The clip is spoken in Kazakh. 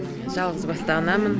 жалғызбасты анамын